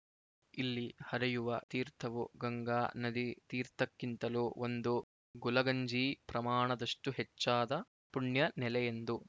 ಇಲ್ಲಿ ಹರಿಯುವ ತೀರ್ಥವು ಗಂಗಾ ನದಿ ತೀರ್ಥಕ್ಕಿಂತಲೂ ಒಂದು ಗುಲಗಂಜಿ ಪ್ರಮಾಣದಷ್ಟುಹೆಚ್ಚಾದ ಪುಣ್ಯನೆಲೆಯೆಂದು